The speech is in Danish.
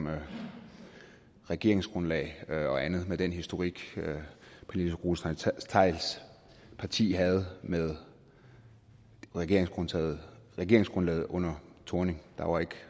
regeringsgrundlag og andet med den historik pernille rosenkrantz theils parti havde med regeringsgrundlaget regeringsgrundlaget under thorning der var ikke